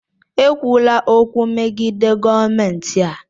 Ekwula okwu megide gọọmentị a!